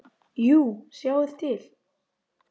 Jú, sjáið til.